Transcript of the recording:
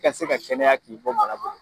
I ka se ka kɛnɛya k'i bɔ bana bolo.